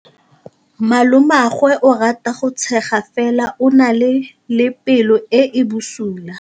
Malomagwe o rata go tshega fela o na le pelo e e bosula.